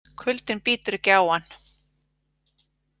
Kuldinn bítur ekki á hann.